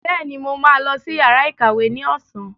Bẹ́ẹ̀ni, mo ma lọ sí yàrá ìkàwé ní ọ̀sán